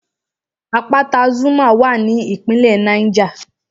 Àpáta Zuma wà ní ìpínlẹ̀ Niger